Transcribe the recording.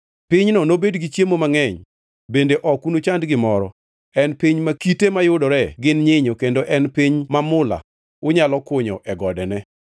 Pinyno nobed gi chiemo mangʼeny, bende ok unuchand gimoro; en piny ma kite mayudore gin nyinyo kendo en piny ma mula unyalo kunyo e godene.